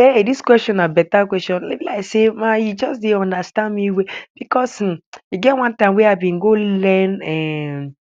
Ei! Dis question na beta question be like sey e juz dey understand me well becos e get one time wey I bin go learn um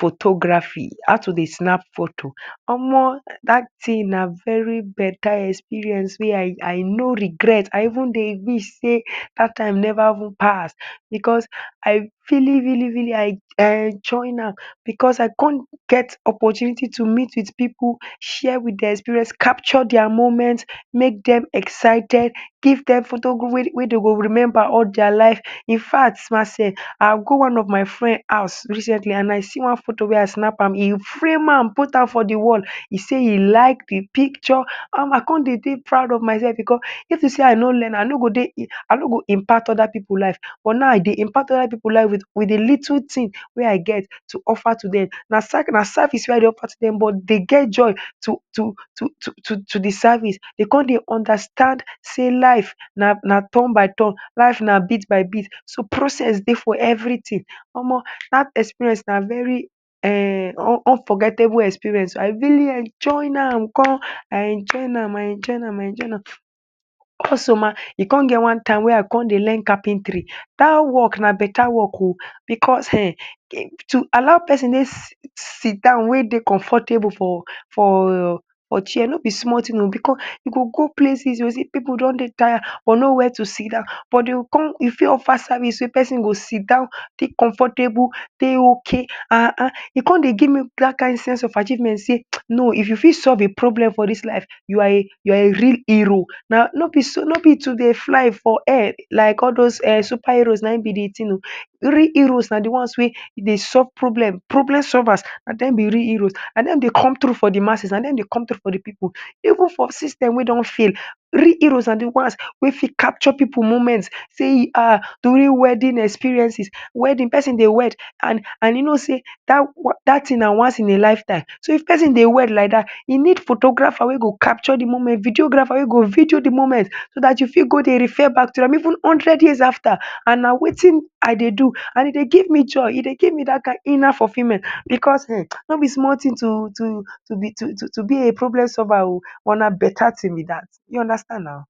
photography—how to dey snap photo. Omoh! Dat tin na very beta experience wey I I no regret. I even dey wish sey dat time neva even pass becos I really really really I I enjoin am becos I con get opportunity to meet with pipu, share with dia experience, capture dia moment, make dem excited, give dem photo wey wey de go remember all dia life. In fact ma sef, I go one of my friend house recently, an I see one photo wey I snap am. E frame am put am for di wall. E sey e like di picture. I con dey dey proud of mysef becos if to sey I no learn, I no go dey I no go impart other pipu life. But now, I dey impart other pipu life with with di little tin wey I get to offer to dem. Na na service wey I dey offer to dem but de get joy to to to to to to di service. De con dey understand sey life na na turn by turn, life na bit by bit, so process dey for everytin. Omoh, dat experience na very um unforgettable experience oh. I really am enjoin am gan. I enjoin am, I enjoin am, I enjoy am. Also ma, e con get one time wey I con dey learn carpentry. Dat work na beta work oh. Becos um to allow pesin dey sit down wey dey comfortable for for for chair no be small tin oh. Becos you go go places you go see pipu don dey taya but nowhere to sit down. But de go con you fit offer service wey pesin go sit down dey comfortable, dey okay. Ah ah. E con dey gimme dat kain sense of achievement sey no if you fit solve a problem for dis life, you are a you are a real hero. Na no be so no be to dey fly for air like all dos um superheroes na ein be di tin oh. Real heroes na di ones wey dey solve problem. Problem solvers na dem be real heroes. Na dem dey come through for di masses, na dem dey come through for di pipu. Even for system wey don fail, real heroes na di ones wey fit capture pipu moment sey ah during wedding experiences, wedding. Pesin dey wed, an an e know sey dat dat tin na once ina lifetime. So, if pesin dey wed like dat, e need photographer wey go capture di moment, videographer wey go video di moment so dat you fit go dey refer back to am even hundred years after. An na wetin I dey do, an e dey give me joy, e dey give me dat kain inner fulfillment becos um no be small tin to to to be to to to be a problem solver oh. But na beta tin be dat. You understand nau.